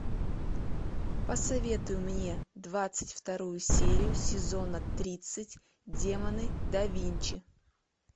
посоветуй мне двадцать вторую серию сезона тридцать демоны да винчи